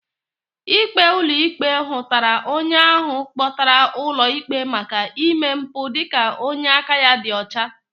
Ikpe ulo ikpe hutara onye ahụ akpotara ulo ikpe maka ime mpu dika onye aka ya di ọcha.